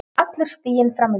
Allur stiginn fram undan.